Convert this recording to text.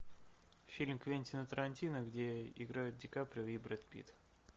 фильм квентина тарантино где играют ди каприо и брэд питт